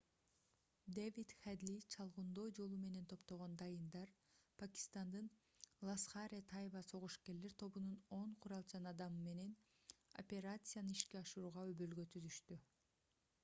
дэвид хедли чалгындоо жолу менен топтогон дайындар пакистандын ласхар-э-тайба согушкерлер тобунун 10 куралчан адамы менен операцияны ишке ашырууга өбөлгө түзүштү